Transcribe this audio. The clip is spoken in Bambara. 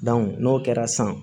n'o kɛra san